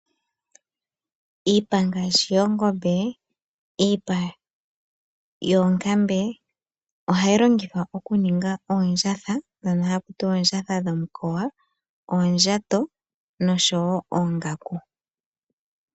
Iipa ngaashi yoongombe noyoonkambe ohayi longithwa okuninga oondjatha ndhono hakutiwa oondjatha dhomukoya , oondjato nosho wo oongaku.